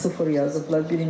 Sıfır yazıblar.